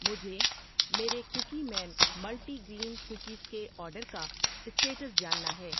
مجھے میرے cookie man multigrain cookies کے آرڈر کا اسٹیٹس جاننا ہے